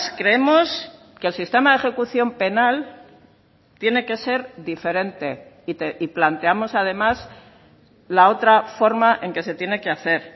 creemos que el sistema de ejecución penal tiene que ser diferente y planteamos además la otra forma en que se tiene que hacer